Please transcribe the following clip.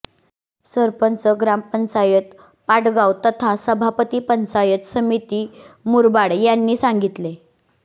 सरपंच ग्रामपंचायत पाटगाव तथा सभापती पंचायत समिती मुरबाड यांनी सांगितले